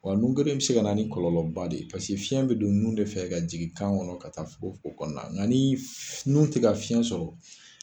Wa nun geren in bɛ se ka ni kɔlɔnba de ye fiɲɛ bɛ don nun de fɛ ka jigin kan kɔnɔ ka taa fogofogo kɔnɔ nka ni nun tɛ ka fiɲɛ sɔrɔ